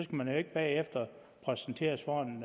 man jo ikke bagefter præsenteres for en